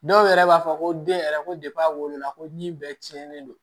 Dɔw yɛrɛ b'a fɔ ko den yɛrɛ ko a wolola ko ɲi bɛɛ cɛnnen don